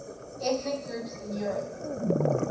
ethnic groups in europe